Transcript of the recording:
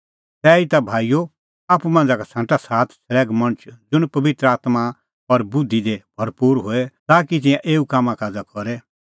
तैहीता भाईओ आप्पू मांझ़ा का छ़ांटा सात छ़ल़ैघ मणछ ज़ुंण पबित्र आत्मां और बुधि दी भरपूर होए ताकि तिंयां एऊ कामकाज़ करे